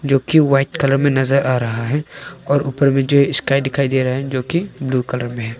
जो की white colour में नजर आ रहा है और ऊपर में जो स्काई दिखाई दे रहे है जोकि ब्लू कलर में है।